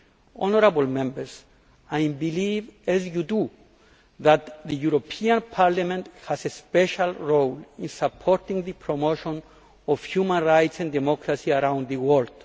Honourable Members I believe, as you do, that the European Parliament has a special role in supporting the promotion of human rights and democracy around the world.